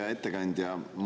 Hea ettekandja!